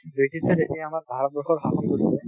ব্ৰিটিছে যেতিয়া আমাৰ ভাৰতবৰ্ষ শাসন কৰিছিলে